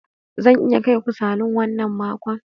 Zan iya kai ku salon wannan makon.